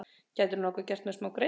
Gætirðu nokkuð gert mér smágreiða?